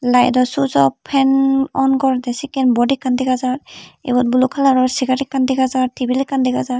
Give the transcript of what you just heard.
laedo suijop fan on guredey sekken bod ekkan dega jar ibot blue kalaror segar ekkan dega jar tebil ekkan dega jar.